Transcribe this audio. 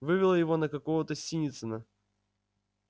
вывело его на какого-то синицына